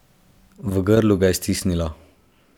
V grlu ga je stisnilo.